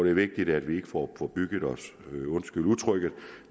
er vigtigt at vi ikke får forbygget os undskyld udtrykket